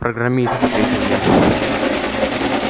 программист ответил я